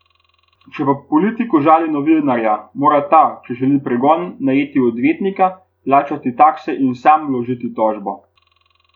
Če pa politik užali novinarja, mora ta, če želi pregon, najeti odvetnika, plačati takse in sam vložiti tožbo.